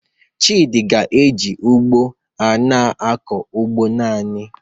Chidi ga-eji ugbo a na-akọ ugbo naanị